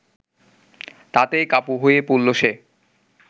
তাতেই কাবু হয়ে পড়ল সে